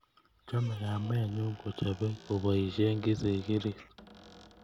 Chamei kamenyu kochopei kopoisie kisikirit